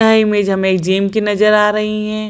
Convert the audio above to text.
यह इमेज हमें जिम की नजर आ रही हैं।